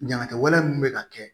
Ɲanakɛw mun bɛ ka kɛ